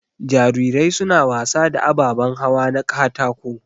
Jarirai suna wasa da ababan hawa na katako.